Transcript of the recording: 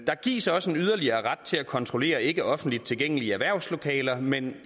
der gives også en yderligere ret til at kontrollere ikke offentligt tilgængelige erhvervslokaler men